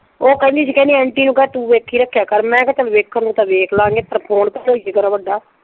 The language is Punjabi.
ਉਹ ਕਹਿੰਦੀ ਸੀ ਕਹਿੰਦੀ ਆਂਟੀ ਨੂੰ ਕਹਿ ਤੂੰ ਵੇਖੀ ਰੱਖਿਆ ਕਰ। ਮੈਂ ਕਿਹਾ ਚੱਲ ਵੇਖਣ ਨੂੰ ਵੇਖਲਾਂਗੇ ਪਰ ਫੋਨ ਤਾਂ ਹੋਏ ਘਰ ਵੱਡਾ।